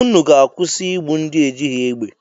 Unu ga-akwụsị igbu ndị ejighị egbe!